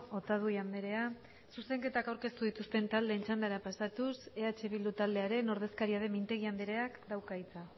otadui andrea zuzenketak aurkeztu dituzten taldeen txandara pasatuz eh bildu taldearen ordezkaria den mintegi andreak dauka hitza